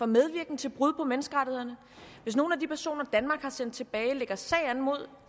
medvirken til brud på menneskerettighederne hvis nogle af de personer danmark har sendt tilbage lægger sag an mod